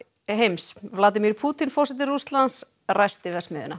heims Pútín forseti Rússlands ræsti verksmiðjuna